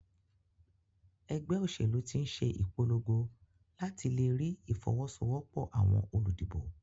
Egbé òsèlú tín se ìpologo làti lerí ìfowósowópò àwon olùdìbò